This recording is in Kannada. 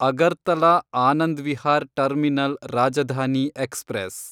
Agartala Anand Vihar terminal Rajdhani express